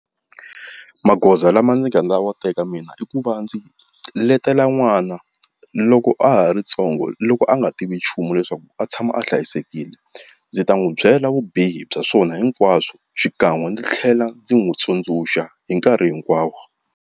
Magoza lama ndzi nga wa teka mina i ku va ndzi letela n'wana loko a ha ri ntsongo loko a nga tivi nchumu leswaku a tshama a hlayisekile ndzi ta n'wi byela vubihi bya swona hinkwaswo xikan'we ndzi tlhela ndzi n'wi tsundzuxa hi nkarhi hinkwawo.